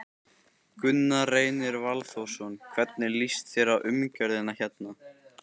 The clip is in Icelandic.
Gunnar Reynir Valþórsson: Hvernig líst þér á umgjörðina hérna?